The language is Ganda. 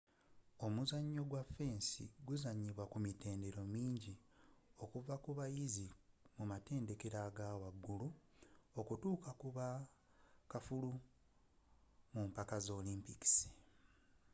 omuzzanyo gw'okukola fensi guzanyibwa ku mitendera mingi okuvva ku bayizzi mu matendekero agawaggulu okutukka ku bakaffulu mu mpaka z'olympics